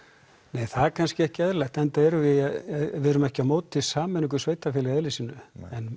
nei það er kannski ekki eðlilegt enda erum við við erum ekki á móti sameiningu sveitarfélaga í eðli sínu en